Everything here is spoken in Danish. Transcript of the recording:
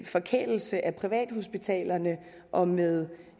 forkælelse af privathospitalerne og med